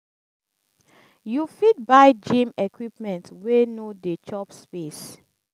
you fit buy gym equipments wey no dey chop space